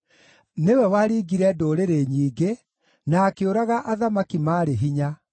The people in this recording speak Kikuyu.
Nĩwe waringire ndũrĩrĩ nyingĩ na akĩũraga athamaki maarĩ hinya: